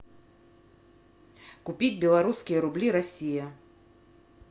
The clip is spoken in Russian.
купить беларусские рубли россия